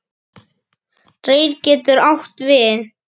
Reyr getur átt við